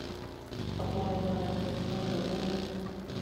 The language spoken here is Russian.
пополнить номер телефона другому